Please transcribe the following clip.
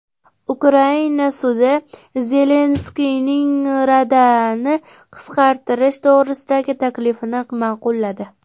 Ukraina sudi Zelenskiyning Radani qisqartirish to‘g‘risidagi taklifini ma’qulladi.